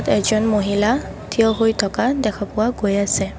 এজন মহিলা থিয় হৈ থকা দেখা পোৱা গৈ আছে।